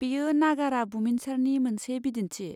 बेयो नागारा बुमिनसारनि मोनसे बिदिन्थि।